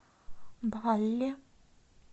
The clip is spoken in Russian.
балли